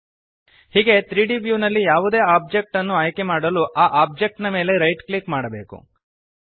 ಹೀಗೆ 3ದ್ ವ್ಯೂ ನಲ್ಲಿ ಯಾವುದೇ ಒಬ್ಜೆಕ್ಟ್ ಅನ್ನು ಆಯ್ಕೆಮಾಡಲು ಆ ಒಬ್ಜೆಕ್ಟ್ ನ ಮೇಲೆ ರೈಟ್ ಕ್ಲಿಕ್ ಮಾಡಬೇಕು